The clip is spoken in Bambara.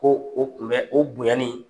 Ko o tun bɛ o bonyani